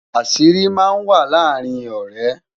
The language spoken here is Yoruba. àṣírí má n wà làrin ọrẹ